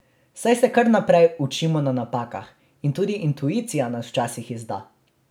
Saj se kar naprej učimo na napakah in tudi intuicija nas včasih izda.